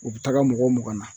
U bɛ taga mɔgɔ mugan na.